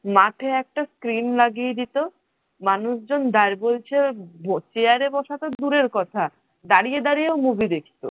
মাঠে একটা screen লাগিয়ে দিত মানুষজন chair বসা তো দূরের কথা। দাঁড়িয়ে দাঁড়িয়েও movie দেখত